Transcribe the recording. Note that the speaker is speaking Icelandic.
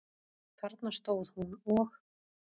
Þarna stóð hún og.